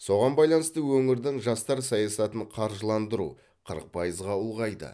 соған байланысты өңірдің жастар саясатын қаржыландыру қырық пайызға ұлғайды